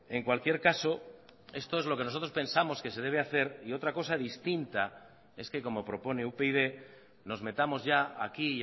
en cualquier caso esto es lo que nosotros pensamos que se debe hacer y otra cosa distinta es que como propone upyd nos metamos ya aquí y